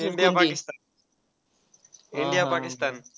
India Pakistan, India Pakistan.